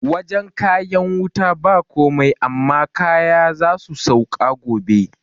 Wajan kayan wutan ba komai amma kaya zasu sauka gobe